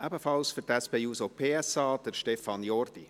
Ebenfalls für die SP-JUSO-PSA: Stefan Jordi.